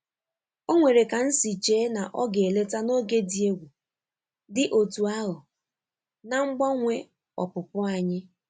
O nwere ka nsi che na ọ ga-eleta n'oge dị egwu dị otú ahụ na mgbanwe opupu anyị.